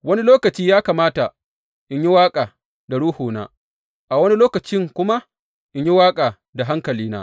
Wani lokaci ya kamata in yi waƙa da ruhuna, a wani lokacin kuma in yi waƙa da hankalina.